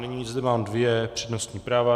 Nyní zde mám dvě přednostní práva.